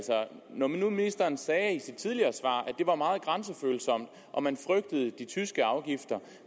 når nu ministeren sagde i sit tidligere svar at det var meget grænsefølsomt og man frygtede de tyske afgifter